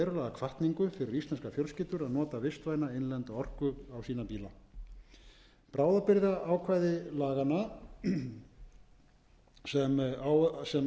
hvatningu að ræða fyrir íslenskar fjölskyldur að nota vistvæna innlenda orku á bíla sína bráðabirgðaákvæði laganna sem áður var á minnst munu nú vera í